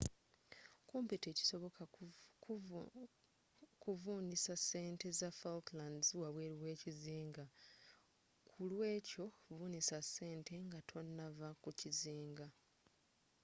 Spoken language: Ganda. kumpi tekisoboka okuvunnisa sente za falklands wabweeru weekizinga ku lw'ekyo vunnisa sente nga tonnava ku kizinga